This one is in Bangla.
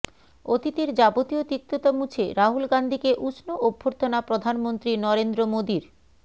অতীতের যাবতীয় তিক্ততা মুছে রাহুল গান্ধীকে উষ্ণ অভ্যর্থনা প্রধানমন্ত্রী নরেন্দ্র মোদীর